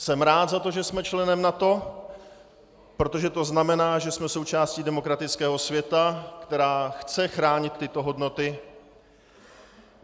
Jsem rád za to, že jsme členem NATO, protože to znamená, že jsme součástí demokratického světa, která chce chránit tyto hodnoty.